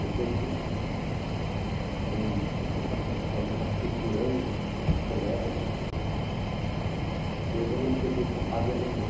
Depois foi foi naturalmente aculturando tudo isso, colégios, eu já não peguei essa fase de alemão.